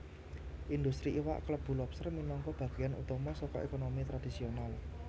Indhustri iwak klebu lobster minangka bagéyan utama saka ékonomi tradisional